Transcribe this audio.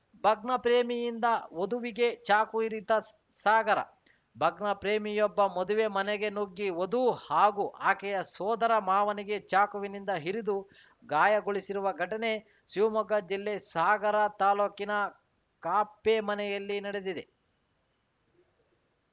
ಭಗ್ನಪ್ರೇಮಿಯಿಂದ ವಧುವಿಗೆ ಚಾಕು ಇರಿತ ಸ್ ಸಾಗರ ಭಗ್ನಪ್ರೇಮಿಯೊಬ್ಬ ಮದುವೆ ಮನೆಗೆ ನುಗ್ಗಿ ವಧು ಹಾಗೂ ಆಕೆಯ ಸೋದರ ಮಾವನಿಗೆ ಚಾಕುವಿನಿಂದ ಇರಿದು ಗಾಯಗೊಳಿಸಿರುವ ಘಟನೆ ಶಿವಮೊಗ್ಗ ಜಿಲ್ಲೆ ಸಾಗರ ತಾಲೂಕಿನ ಕಾಪ್ಟೆಮನೆಯಲ್ಲಿ ನಡೆದಿದೆ